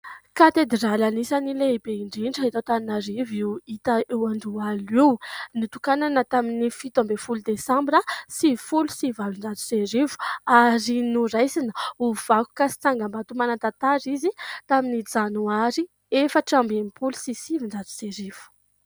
Katedraly anisan'ny lehibe indrindra eto Antananarivo io hita eo Andohalo io. Notokanana tamin'ny fito ambin'ny folo desambra sivifolo sy valonjato sy arivo ary noraisina ho vakoka sy tsangambato manatantara izy tamin'ny janoary efatra amby telopolo sy sivinjato sy arivo.